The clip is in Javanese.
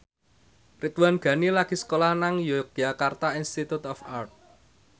Ridwan Ghani lagi sekolah nang Yogyakarta Institute of Art